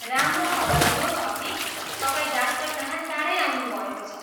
राम्रो खबर यो छ कि तपाईँ डाक्टरकहाँ चाँडै आउनुभएको छ।